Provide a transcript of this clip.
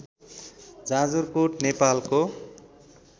जाजरकोट नेपालको